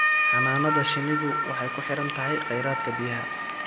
Xannaanada shinnidu waxay ku xiran tahay kheyraadka biyaha.